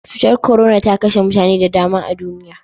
Cutar korona ta kashe mutane da dama a duniya.